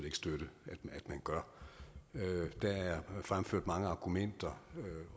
ikke støtte at man gør der er fremført mange argumenter